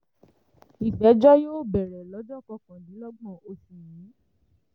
ìgbẹ́jọ́ yóò bẹ̀rẹ̀ lọ́jọ́ kọkàndínlọ́gbọ̀n oṣù yìí